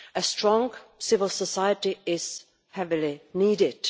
A strong civil society is heavily needed.